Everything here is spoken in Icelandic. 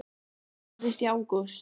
Þetta gerðist í ágúst.